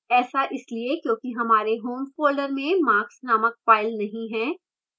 ऐसा इसलिए क्योंकि हमारे home folder में marks named file नहीं है